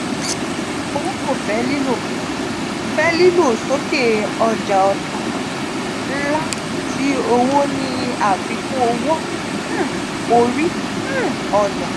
um owo ko fe lilo fe lilo soke oja ota nla ti owo ni afikun owo um ori um oja.